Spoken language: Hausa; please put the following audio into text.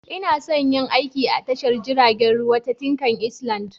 Ina son yin aiki a tashar jiragen ruwa ta Tinkan Island.